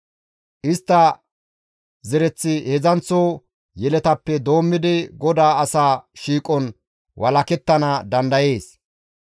Istta zereththi heedzdzanththo yeletappe doommidi GODAA asaa shiiqon walakettana dandayees.